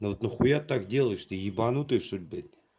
ну вот нахуя так делаешь ты ебанутый что-ли блять